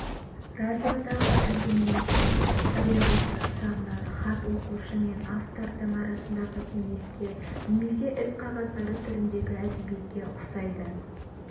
радиодағы әңгімелесу табиғаты жағынан хат оқушы мен автордың арасындағы кеңеске немесе іс қағаздары түріндегі әдебиетке ұқсайды